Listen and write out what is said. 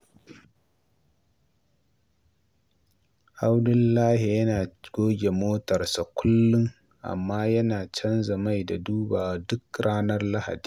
Abdullahi yana goge motarsa kullum, amma yana canza mai da dubawa duk ranar Lahadi.